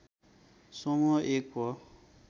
समुह एक हो